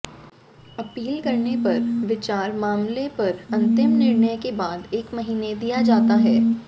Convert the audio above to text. appeal करने पर विचार मामले पर अंतिम निर्णय के बाद एक महीने दिया जाता है